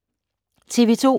TV 2